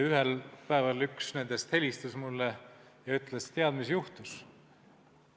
Ühel päeval üks nendest helistas mulle ja ütles, et tead, mis juhtus.